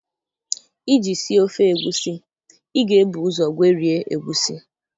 Iji sie ofe egusi, I ga-ebu ụzọ gwerie egusi